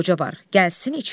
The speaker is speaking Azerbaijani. Gəlsin içəri.